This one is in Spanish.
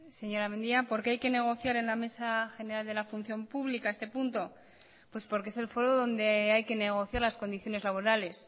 señora mendia por qué hay que negociar en la mesa general de la función pública este punto pues porque es el foro donde hay que negociar las condiciones laborales